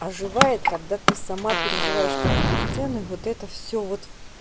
оживает когда ты сама переживаешь каждую сцену и вот это все вот